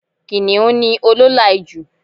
Kìniún ni olóòlà ijù